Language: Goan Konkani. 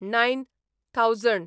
nine thousand